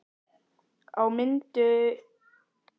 Á mynd Lúnu var stálhjarta ofan á brjósti unga mannsins.